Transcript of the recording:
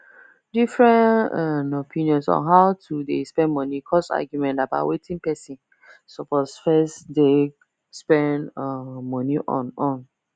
different um opinions on how to dey spend money cause argument about wetin person suppose first deg spend um money on on